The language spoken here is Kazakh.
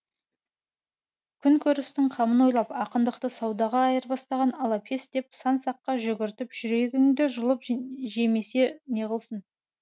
күн көрістің қамын ойлап ақындықты саудаға айырбастаған алапес деп сан саққа жүгіртіп жүрегіңді жұлып жемесе неғылсын